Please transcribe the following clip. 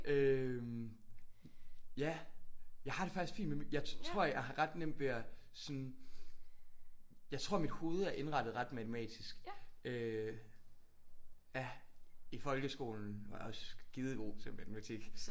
Øh ja jeg har det faktisk fint med mikro. Jeg tror jeg har ret nemt ved at sådan jeg tror mit hoved er indrettet ret matematisk øh ja i folkeskolen var jeg også skidegod til matematik